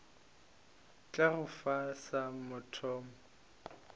tla go fa sa mathomo